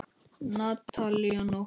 Natalía Nótt.